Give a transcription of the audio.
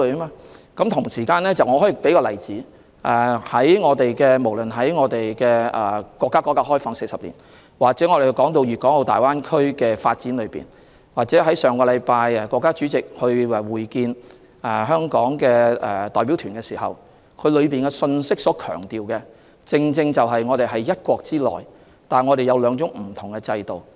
我可以舉一個例子，不論是說國家改革開放40年、粵港澳大灣區的發展，或上星期國家主席會見香港代表團，當中所強調的信息，正正就是我們是在"一國"之內，但擁有兩種不同制度。